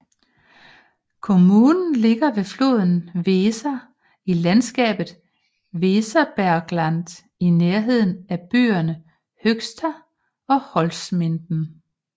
Kommunen ligger ved floden Weser i landskabet Weserbergland i nærheden af byerne Höxter og Holzminden